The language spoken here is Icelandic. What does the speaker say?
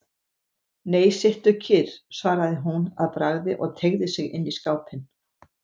Nei, sittu kyrr, svaraði hún að bragði og teygði sig inn í skápinn.